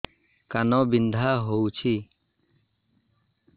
କାନ ବିନ୍ଧା ହଉଛି